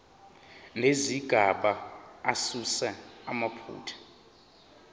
nezigaba asuse amaphutha